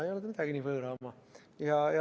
Ei ole ta midagi nii võõra oma.